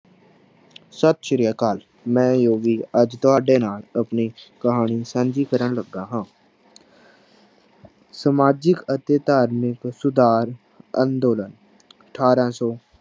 ਸਤਿ ਸ੍ਰੀ ਅਕਾਲ ਮੈਂ ਜੋਗੀ ਅੱਜ ਤੁਹਾਡੇ ਨਾਲ ਆਪਣੀ ਕਹਾਣੀ ਸਾਂਝੀ ਕਰਨ ਲੱਗਾ ਹਾਂ ਸਮਾਜਿਕ ਅਤੇ ਧਾਰਮਿਕ ਸੁਧਾਰ ਅੰਦੋਲਨ ਅਠਾਰਾਂ ਸੌ